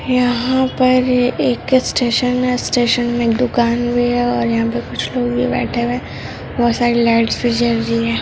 यहा पर एक स्टेशन है स्टेशन मे एक दुकान भी है और यहा पे कुछ लोग भी बैठे हुए हैं बहुत सारी लाइट्स जल रही है।